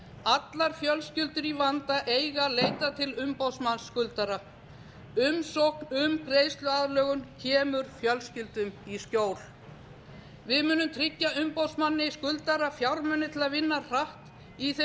allar fjölskyldur í vanda eiga að leita til umboðsmanns skuldara umsókn um greiðsluaðlögun kemur fjölskyldum í skjól við munum tryggja umboðsmanni skuldara fjármuni til að vinna hratt í þeim